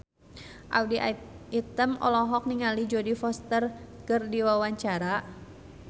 Audy Item olohok ningali Jodie Foster keur diwawancara